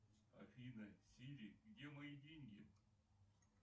афина сири где мои деньги